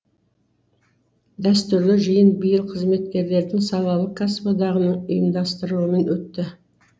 дәстүрлі жиын биыл қызметкерлердің салалық кәсіподағының ұйымдастыруымен өтті